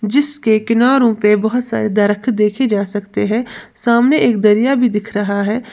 जिसके किनारो पे बहोत सारे दरक देखे जा सकते हैं सामने एक दरिया भी दिख रहा है।